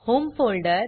home folder